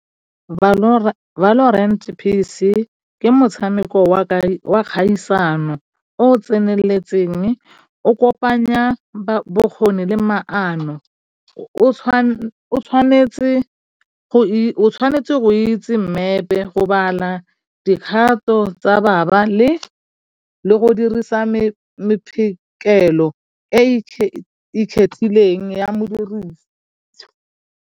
Ke motshameko wa kgaisano o o tseneletseng o kopanya bokgoni le maano o tshwanetse go itse mmepe go bala dikgato tsa baba le go dirisa e ikgethileng ya .